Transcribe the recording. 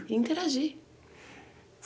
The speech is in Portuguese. E interagir.